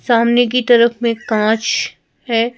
सामने की तरफ में कांच है।